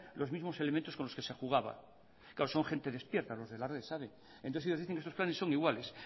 los mismos elementos con los que se jugaban claro son gente despierta los de la red ya saben y entonces ellos dicen que sus planes son iguales